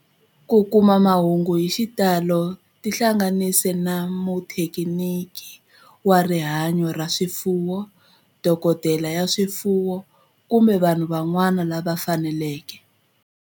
Ku kuma mahungu hi xitalo tihlanganisi na muthekiniki wa rihanyo ra swifuwo, dokodela ya swifuwo, kumbe vanhu van'wana lava fanelekeke.